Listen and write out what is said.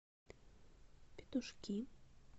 петушки